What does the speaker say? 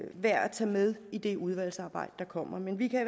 værd at tage med i det udvalgsarbejde der kommer men vi kan